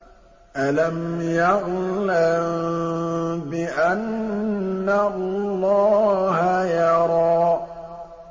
أَلَمْ يَعْلَم بِأَنَّ اللَّهَ يَرَىٰ